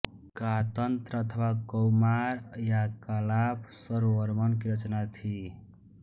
कातंत्र अथवा कौमार या कालाप शर्ववर्मन की रचना थी